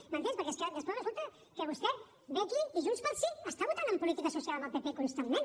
m’entens perquè és que després resulta que vostè ve aquí i junts pel sí està votant en política social amb el pp constantment